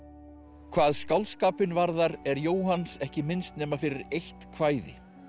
hvað skáldskapinn varðar er Jóhanns ekki minnst nema fyrir eitt kvæði